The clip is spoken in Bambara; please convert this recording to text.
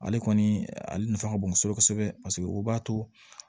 Ale kɔni ale nafa ka bon kosɛbɛ kosɛbɛ b'a to